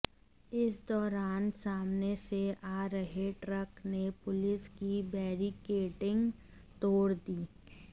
इस दौरान सामने से आ रहे ट्रक ने पुलिस की बैरिकेडिंग तोड़ दी